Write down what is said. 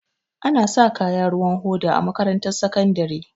Anasa kaya ruwan hoda a makarantar sakandare